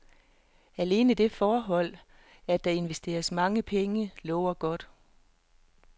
Alene det forhold, at der investeres mange penge, lover godt.